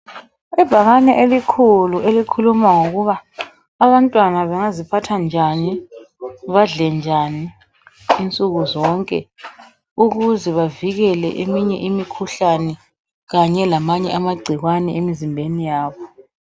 Ibhakane elikhulu elikhuluma ngokuba abantwana bengaziphatha njani badle njani insuku zonke ukuze bavikele eminye imikhuhlane kanye lamanye amagcikwane emizimbeni yabo.